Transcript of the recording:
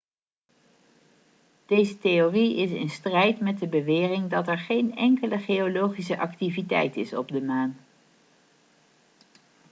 deze theorie is in strijd met de bewering dat er geen enkele geologische activiteit is op de maan